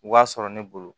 B'a sɔrɔ ne bolo